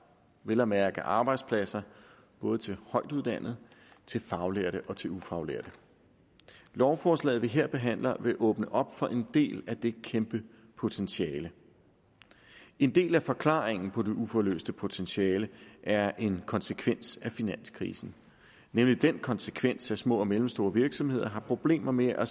vel at mærke arbejdspladser både til højtuddannede til faglærte og til ufaglærte lovforslaget vi her behandler vil åbne op for en del af det kæmpe potentiale en del af forklaringen på det uforløste potentiale er en konsekvens af finanskrisen nemlig den konsekvens at små og mellemstore virksomheder har problemer med at